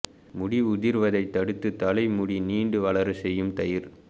முடி உதிர்வதை தடுத்து தலை முடி நீண்டு வளர செய்யும் தயிர்